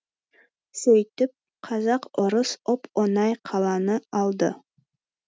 сөйтіп казак орыс оп оңай қаланы алды